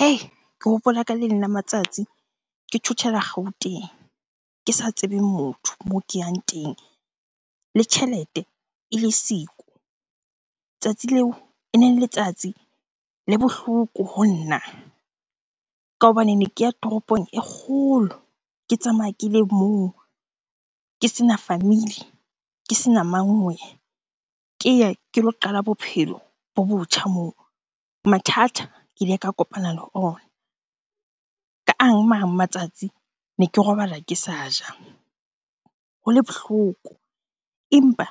Hei! Ke hopola ka le leng la matsatsi ke thothela Gauteng, ke sa tsebeng motho moo ke yang teng le tjhelete e le siko. Letsatsi leo ene le letsatsi le bohloko ho nna ka hobane ne ke ya toropong e kgolo, ke tsamaya ke le mong. Ke sena family, ke sena mang weh! Ke ye ke lo qala bophelo bo botjha moo. Mathata ke ile ka kopana le ona. Ka mang matsatsi ne ke robala ke sa ja. Ho le bohloko empa